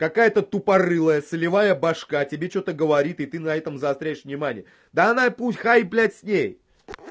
какая-то тупорылая солевая башка тебе что-то говорит и ты на этом заостряешь внимание да она и пусть хай блядь с ней